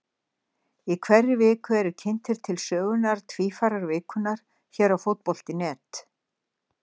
Í hverri viku eru kynntir til sögunnar Tvífarar vikunnar hér á Fótbolti.net.